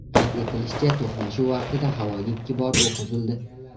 Qayd etilishicha, to‘qnashuv vaqtida havoga ikki bor o‘q uzildi.